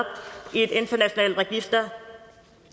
et internationalt register